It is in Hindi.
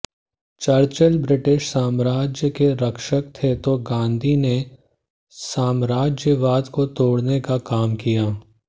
चर्चिल ब्रिटिश साम्राज्य के रक्षक थे तो गांधी ने साम्राज्यवाद को तोड़ने का काम किया